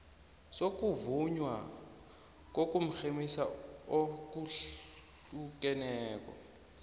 sokuvunywa kokurhemisa okuhlukeneko